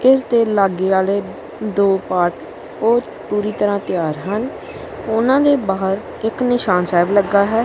ਇੱਸ ਦੇ ਲੱਗੇ ਆਲ਼ੇ ਦੋ ਪਾਰਟ ਓਹ ਪੂਰੀ ਤਰਹਾਂ ਤਿਆਰ ਹਨ ਓਹਨਾ ਦੇ ਬਾਹਰ ਇੱਕ ਨਿਸ਼ਾਨ ਸਾਹਿਬ ਲੱਗਾ ਹੈ।